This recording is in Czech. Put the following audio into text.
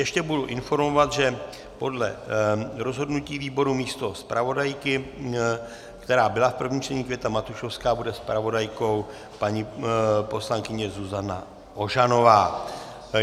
Ještě budu informovat, že podle rozhodnutí výboru místo zpravodajky, kterou byla v prvním čtení Květa Matušovská, bude zpravodajkou paní poslankyně Zuzana Ožanová.